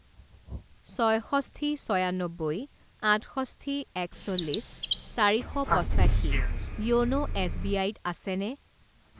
ছয়ষষ্ঠি ছয়ান্নব্বৈ আঠষষ্ঠি একচল্লিছ চাৰি শ পঁচাশী য়োন' এছবিআইত আছেনে?